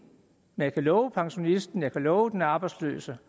men jeg kan love pensionisten jeg kan love den arbejdsløse